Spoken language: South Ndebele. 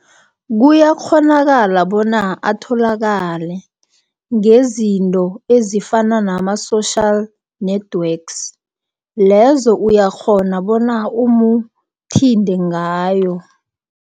Kuyakghonakala bona atholakale, ngezinto ezifana nama-social networks. Lezo uyakghona bona umuthinde ngayo.